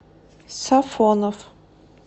сафонов